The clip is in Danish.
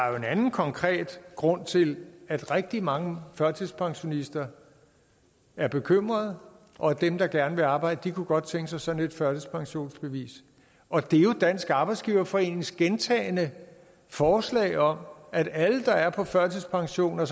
er en anden konkret grund til at rigtig mange førtidspensionister er bekymrede og at dem der gerne vil arbejde godt kunne tænke sig sådan et førtidspensionsbevis og det er jo dansk arbejdsgiverforenings gentagne forslag om at alle der er på førtidspension og